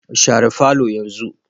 Share falo yanzu